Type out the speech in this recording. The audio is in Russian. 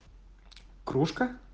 кружка